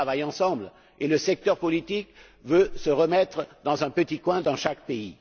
Ils travaillent ensemble, et le secteur politique veut se remettre dans un petit coin dans chaque pays.